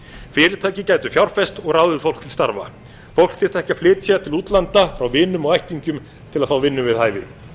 fyrirtæki gætu fjárfest og ráðið fólk til starfa fólk þyrfti ekki að flytja til útlanda frá vinum og ættingjum til að fá vinnu við hæfi